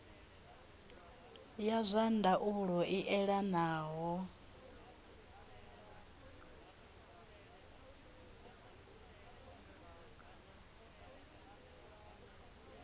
ya zwa ndaulo i elanaho